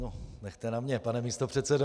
No, nechte na mě, pane místopředsedo!